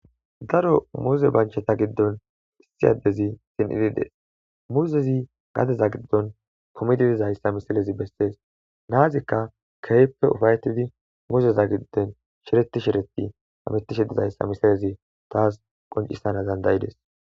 daro muze bancheta giddon issiyaddezi sin idides muzezi gadeza giddon pumididizayssa misilezi bessees naazikka keehppe ufayetidi muzeza gidden shireti shireti tametishidizayssa misalezi taas qoncisana dandayides